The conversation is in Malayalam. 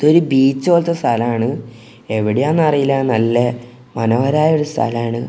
ഇത് ഒരു ബീച്ച് പോലത്തെ സ്ഥലാണ് എവിടെയാണെന്നറിയില്ല നല്ല മനോഹരായ ഒരു സ്ഥലമാണ്.